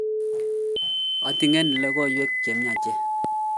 ating'enin logoiwek che miach